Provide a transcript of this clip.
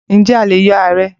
Ǹjẹ́ a lè yọ ààrẹ́?